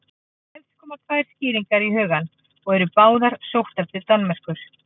Helst koma tvær skýringar í hugann og eru báðar sóttar til Danmerkur.